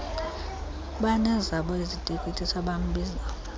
banezabo iziteketiso abambiza